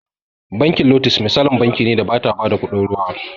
Bankin lotus misalin banki ne da bata ba da kuɗin ruwa